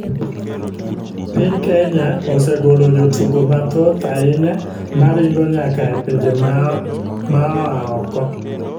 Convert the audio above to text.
Piny kenya osegolo jotugo mathoth ahinya ma ringo nyaka e pinje mao oko.